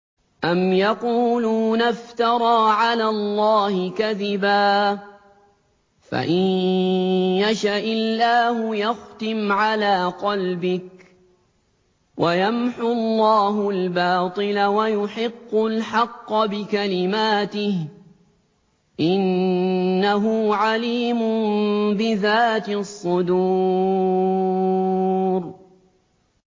أَمْ يَقُولُونَ افْتَرَىٰ عَلَى اللَّهِ كَذِبًا ۖ فَإِن يَشَإِ اللَّهُ يَخْتِمْ عَلَىٰ قَلْبِكَ ۗ وَيَمْحُ اللَّهُ الْبَاطِلَ وَيُحِقُّ الْحَقَّ بِكَلِمَاتِهِ ۚ إِنَّهُ عَلِيمٌ بِذَاتِ الصُّدُورِ